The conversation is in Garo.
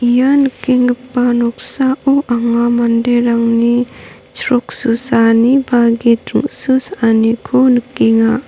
ia nikenggipa noksao anga manderangni chrok susaani ba git ring·susaaniko nikenga.